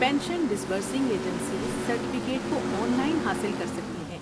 Pension disbursing agencies certificate کو online حاصل کر سکتی ہیں۔